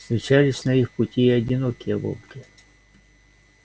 встречались на их пути и одинокие волки